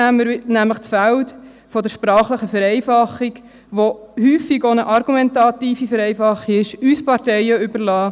Sonst wird nämlich das Feld der sprachlichen Vereinfachung, was häufig auch eine argumentative Vereinfachung ist, uns Parteien überlassen;